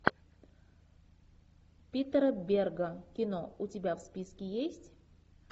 питера берга кино у тебя в списке есть